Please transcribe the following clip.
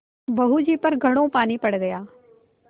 बहू जी पर घड़ों पानी पड़ गया